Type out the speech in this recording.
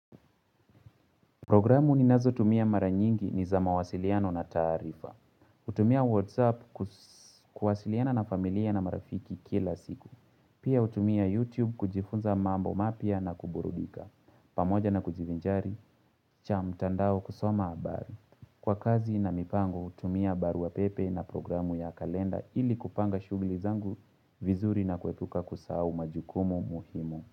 Programu ni nazo tumia maranyingi ni za mawasiliano na tarifa. Utumia WhatsApp kuwasiliana na familia na marafiki kila siku. Pia utumia YouTube kujifunza mambo mapia na kuburudika. Pamoja na kujivinjari, cha mtandao kusoma habari. Kwa kazi na mipango, hutumia baru wa pepe na programu ya kalenda ili kupanga shugli zangu vizuri na kuepuka kusahau majukumu muhimu.